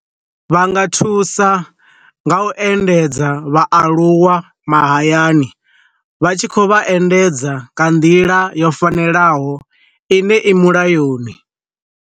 Vha nga thusa nga u endedza vha aluwa mahayani, vha tshi khou vha endedza nga nḓila yo fanelaho ine i mulayoni.